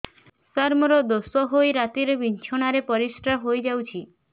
ସାର ମୋର ଦୋଷ ହୋଇ ରାତିରେ ବିଛଣାରେ ପରିସ୍ରା ହୋଇ ଯାଉଛି